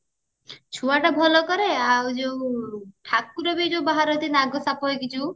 ଛୁଆଟା ଭଲ କରେ ଆଉ ଯୋଉ ଠାକୁର ବି ଯୋଉ ବାହାରନ୍ତି ନଗସାପ ହେଇକି ଯୋଉ